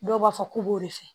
Dɔw b'a fɔ k'u b'o de fɛ